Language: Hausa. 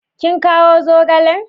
Kin kawo zogalen?